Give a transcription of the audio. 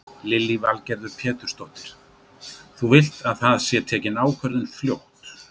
Lillý Valgerður Pétursdóttir: Þú vilt að það sé tekin ákvörðun fljótt?